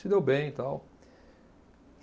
Se deu bem e tal.